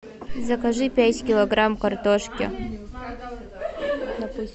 закажи пять килограмм картошки